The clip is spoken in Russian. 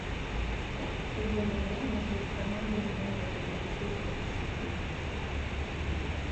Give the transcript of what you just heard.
футбольная игра между командами юнайтед манчестер сити